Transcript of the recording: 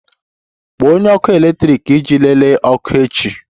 Kpọọ onye ọkụ eletrik iji lelee ọkụ echi!